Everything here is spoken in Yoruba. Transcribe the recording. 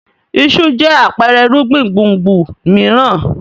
Iṣu jẹ́ àpẹẹrẹ irúgbìn gbùngbùn mìíràn.